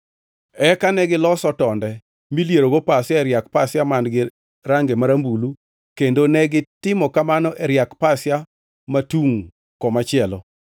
Eka negiloso tonde milierogo pasia e riak pasia man-gi range marambulu kendo negitimo kamano e riak pasia matungʼ komachielo.